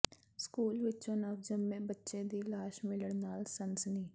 school ਵਿਚੋਂ ਨਵਜੰਮੇ ਬੱਚੇ ਦੀ ਲਾਸ਼ ਮਿਲਣ ਨਾਲ ਸਨਸਨੀ